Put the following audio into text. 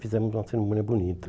Fizemos uma cerimônia bonita.